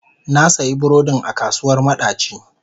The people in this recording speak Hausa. Na sayi burodin a kasuwar madaci.